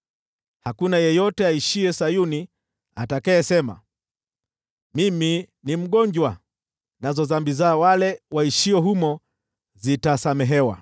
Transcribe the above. Hakuna yeyote aishiye Sayuni atakayesema, “Mimi ni mgonjwa”; nazo dhambi za wale waishio humo zitasamehewa.